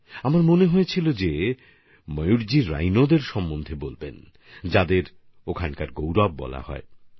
আমার মনে হচ্ছিল ময়ূরজি গণ্ডার সম্পর্কে বলবেন যে গণ্ডারকে সেখানকার গৌরব বলা হয়ে থাকে